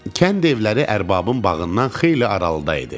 Kənd evləri ərbabın bağından xeyli aralıda idi.